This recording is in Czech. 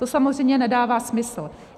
To samozřejmě nedává smysl.